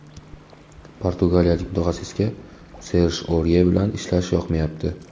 Portugaliyalik mutaxassisga Serj Orye bilan ishlash yoqmayapti.